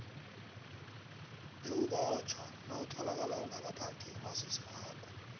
bewubotjhwa nawutholakale ungakaphathi umazisi wakho